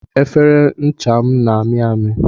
Efere ncha m na ami ami